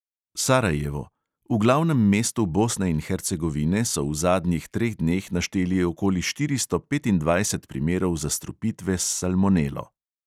Sarajevo: v glavnem mestu bosne in hercegovine, so v zadnjih treh dneh našteli okoli štiristo petindvajset primerov zastrupitve s salmonelo.